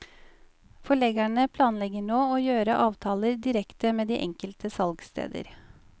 Forleggerne planlegger nå å gjøre avtaler direkte med de enkelte salgssteder.